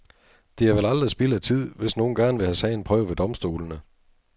Det er vel aldrig spild af tid, hvis nogen gerne vil have sagen prøvet ved domstolene.